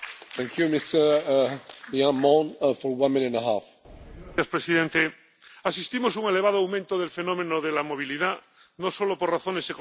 Señor presidente, asistimos a un elevado aumento del fenómeno de la movilidad, no solo por razones económicas sino también por persecución política, crisis o conflictos.